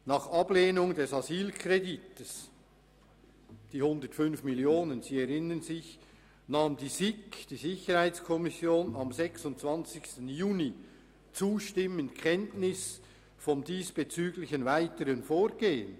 Nach Ablehnung des Asylkredites von 105 Mio. Franken nahm die SiK am 26. Juni zustimmend Kenntnis vom diesbezüglichen weiteren Vorgehen.